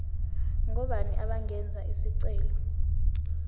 ngobani abangenza isicelo